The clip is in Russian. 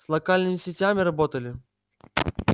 с локальными сетями работали